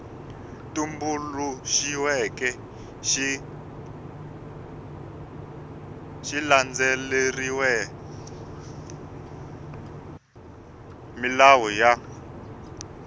tumbuluxiweke xi landzelerile milawu ya